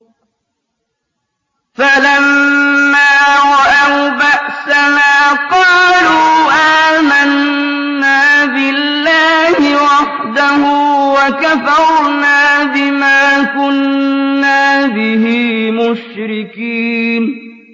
فَلَمَّا رَأَوْا بَأْسَنَا قَالُوا آمَنَّا بِاللَّهِ وَحْدَهُ وَكَفَرْنَا بِمَا كُنَّا بِهِ مُشْرِكِينَ